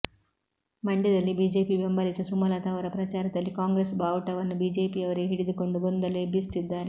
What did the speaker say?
ಮಂಡ್ಯದಲ್ಲಿ ಬಿಜೆಪಿ ಬೆಂಬಲಿತ ಸುಮಲತಾ ಅವರ ಪ್ರಚಾರದಲ್ಲಿ ಕಾಂಗ್ರೆಸ್ ಬಾವುಟವನ್ನು ಬಿಜೆಪಿಯವರೇ ಹಿಡಿದುಕೊಂಡು ಗೊಂದಲ ಎಬ್ಬಿಸುತ್ತಿದ್ದಾರೆ